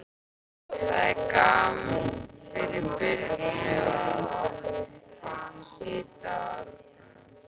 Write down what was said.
Það er gaman fyrir Birnu að hitta Árna.